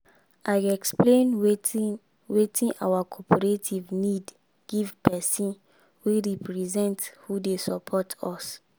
i explain wetin wetin our cooperative need give person wey represent who dey support us